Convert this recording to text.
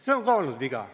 See on ka olnud viga.